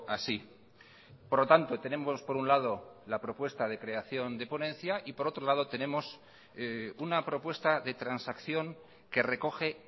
así por lo tanto tenemos por un lado la propuesta de creación de ponencia y por otro lado tenemos una propuesta de transacción que recoge